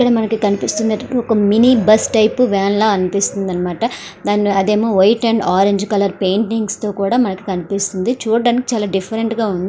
ఇక్కడ మనకి కనిపిస్తుంది ఒక మినీ బస్సు టైపు వ్యాన్ లాగా అనిపిస్తుంది అనమాట అదేమో white and orange colour paintings తో మనకు కనిపిస్తుంది చూడ్డానికి చాలా డిఫరెంట్ గా ఉంది.